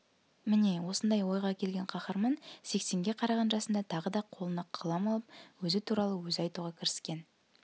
міне осындай ойға келген қаһарман сексенге қараған жасында тағы да қолына қалам алып өзі туралы өзі айтуға кіріскен